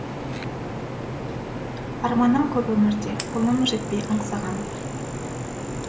арманым көп өмірде қолым жетпей аңсаған